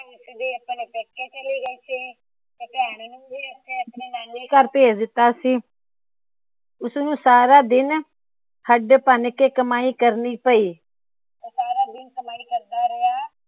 ਉਸਨੂੰ ਆਪਣੇ ਨਾਨੇ ਘਰ ਭੇਜ ਦਿੱਤਾ ਸੀ। ਉਸ ਨੂੰ ਸਾਰਾ ਦਿਨ ਹੱਡ ਭਨ ਕੇ ਕਮਾਈ ਕਰਨੀ ਪਈ। ਉਹ ਸਾਰਾ ਦਿਨ ਕਮਾਈ ਕਰਦਾ ਰਿਹਾ।